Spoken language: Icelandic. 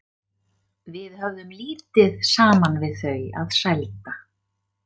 Við höfðum lítið saman við þau að sælda.